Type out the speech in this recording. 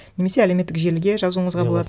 немесе әлеуметтік желіге жазуыңызға болады